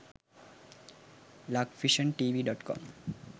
lakvisiontv.com